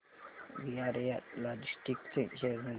VRL Logistics चे share मूल्य